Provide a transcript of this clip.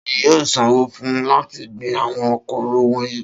Ta ni yóò sanwó fún láti gbin àwọn kóró wọ̀nyí?